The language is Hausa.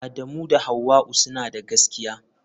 Adamu da Hauwa'u suna da gaskiya.